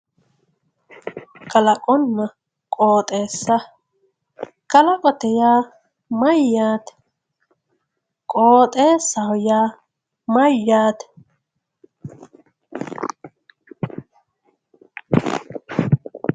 kalaqonna qoxeesa kalaqote yaa mayyaate qooxeesaho yaa mayyaate